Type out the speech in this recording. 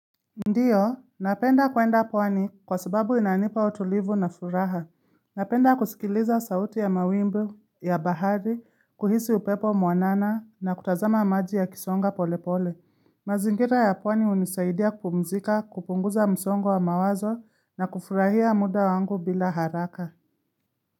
Ndio, napenda kuenda pwani kwa sababu inanipa utulivu na furaha. Napenda kusikiliza sauti ya mawimbi ya bahari, kuhisi upepo mwanana na kutazama maji yakisonga polepole. Mazingira ya pwani hunisaidia kupumzika, kupunguza msongo wa mawazo na kufurahia muda wangu bila haraka.